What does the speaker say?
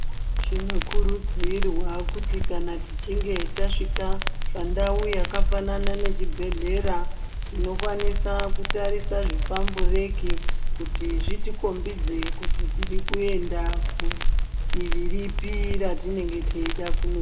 Tinokurudzirwa kuti kana tichinge tasvika pandau yakafanana nechibhedhlera tinokwanisa kutarisa zvipambureki kuti zvitikombidze kuti tiri kuenda kudivi ripi ratinenge teida kuno.